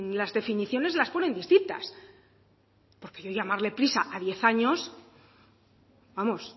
las definiciones las ponen distintas porque yo llamarle prisa a diez años vamos